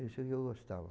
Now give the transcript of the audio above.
Isso que eu gostava.